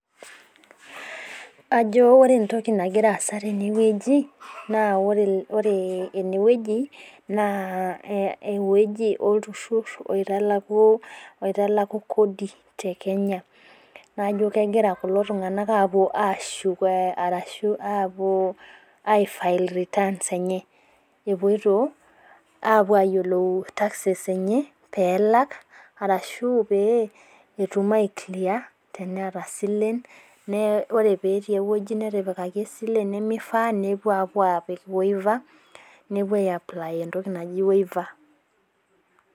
Ajo ore entoki nagira aasa teneweji naa ore eneweji naa eweji olturur oitalaku kodi tekenya. Naa ijo kepoitoi kulo tunganak ashuko arashu apuo aifail returns enye. Epoito ayiolou taxes enye pee elaki ashu pee etum aiclear teneaata silen, ore pee etii eweji netipikaki esile nemeifaa nepuo aiaply entoki naji waiper.